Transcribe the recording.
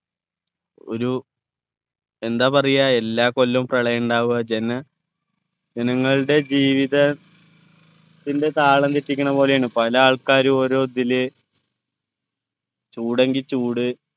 ഒരു എന്താ പറയാ എല്ലാ കൊല്ലവും പ്രളയം ഉണ്ടാവുക വെച്ചാന ജനങ്ങളുടെ ജീവിത ത്തിൻ്റെ താളം തെറ്റിക്കുണ പോലെയാണ് പല ആൾക്കാരും ഓരോ ഇതില് ചൂടെങ്കിൽ ചൂട്